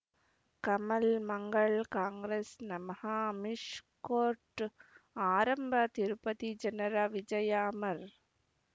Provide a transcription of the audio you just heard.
ಕಮಲ್ ಮಂಗಳ್ ಕಾಂಗ್ರೆಸ್ ನಮಃ ಅಮಿಷ್ ಕೋರ್ಟ್ ಆರಂಭ ತಿರುಪತಿ ಜನರ ವಿಜಯ ಅಮರ್